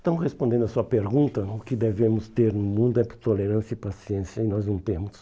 Então, respondendo a sua pergunta, o que devemos ter no mundo é tolerância e paciência, e nós não temos.